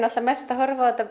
mest að horfa á þetta